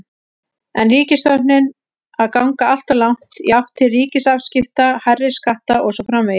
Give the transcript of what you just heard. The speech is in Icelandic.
Er ríkisstjórnin að ganga alltof langt í átt til ríkisafskipta, hærri skatta og svo framvegis?